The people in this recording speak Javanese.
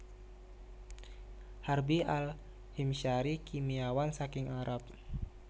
Harbi Al Himsyari kimiawan saking Arab